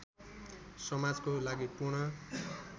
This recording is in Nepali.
समाजको लागि पूर्ण